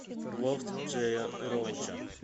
лофт джея роуча